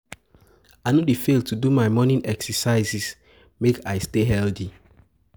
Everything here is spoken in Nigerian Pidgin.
I no dey fail to do my morning exercise make I stay healthy.